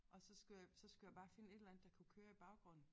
Og så skulle jeg så skulle jeg bare finde et eller andet der kunne køre i baggrunden